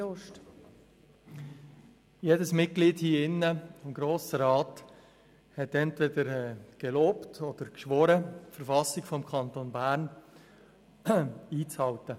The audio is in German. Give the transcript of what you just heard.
Jedes Mitglied des Grossen Rates hat entweder gelobt oder geschworen, sich an die Verfassung des Kantons Bern (KV) zu halten.